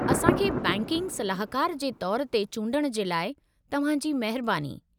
असां खे बैंकिग सलाहकार जे तौर ते चूंडणु जे लाइ तव्हां जी महिरबानी।